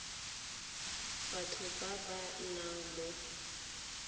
batho ba ba nnang mo